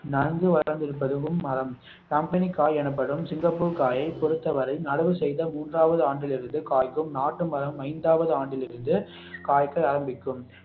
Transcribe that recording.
நன்கு வளர்ந்திருப்பதும் மரம் கம்பெனிகாய் எனப்படும் சிங்கப்பூர் காயை பொருத்தவரை நடவு செய்த மூன்றாவது ஆண்டிலிருந்து காய்க்கும் நாட்டு மரம் ஐந்தாவது ஆண்டிலிருந்து காய்க்க ஆரம்பிக்கும்